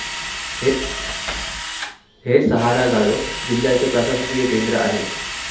हे सहारा गाढव जिल्ह्याचे प्रशासकीय केंद्र आहे.